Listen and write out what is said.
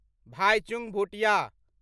Bhaichung Bhutia